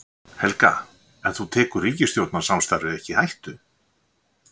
Helga: En þú tekur ríkisstjórnarsamstarfið ekki í hættu?